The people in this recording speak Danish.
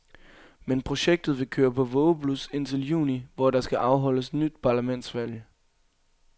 Men projektet vil køre på vågeblus indtil juni, hvor der skal afholdes nyt parlamentsvalg.